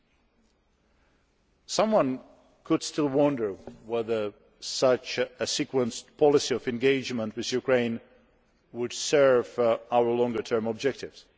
You could still wonder whether such a sequenced policy of engagement with Ukraine would serve our longer term objectives.